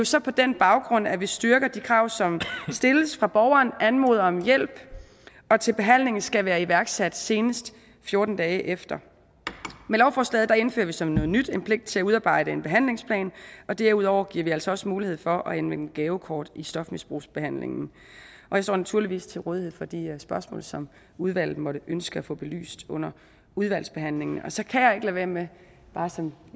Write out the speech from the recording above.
så på den baggrund at vi styrker de krav som stilles fra borgeren anmoder om hjælp og til behandlingen skal være iværksat senest fjorten dage efter med lovforslaget indfører vi som noget nyt en pligt til at udarbejde en behandlingsplan og derudover giver vi altså også mulighed for at anvende gavekort i stofmisbrugsbehandlingen og jeg står naturligvis til rådighed for de spørgsmål som udvalget måtte ønske at få belyst under udvalgsbehandlingen så kan jeg ikke lade være med bare som